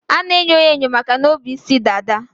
A na-enyo ya enyo makana o bu isi dada.